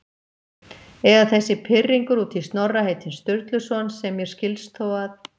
Eða þessi pirringur út í Snorra heitinn Sturluson, sem mér skilst þó að